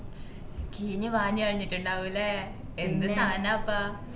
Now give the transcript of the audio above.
കീഞ്ഞു പാഞ്ഞു കളഞ്ഞിട്ടുണ്ടാവുയല്ലേ എന്തിന്നാനപ്പ